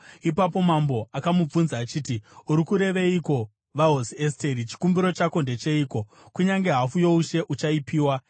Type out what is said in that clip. Ipapo mambo akamubvunza achiti, “Uri kureveiko, vaHosi Esteri? Chikumbiro chako ndecheiko? Kunyange hafu youshe uchaipiwa.”